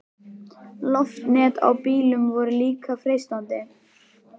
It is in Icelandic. Loftnet á bílum voru líka freistandi.